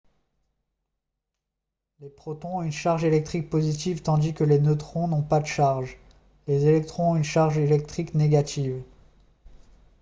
les protons ont une charge électrique positive tandis que les neutrons n'ont pas de charge les électrons ont une charge électrique négative